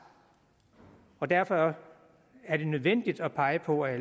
derfor er det nødvendigt at pege på at